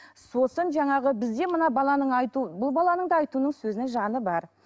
сосын жаңағы бізде мына баланың айту бұл баланың да айтуының сөзінің жаны бар